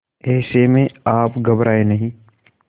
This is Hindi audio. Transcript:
ऐसे में आप घबराएं नहीं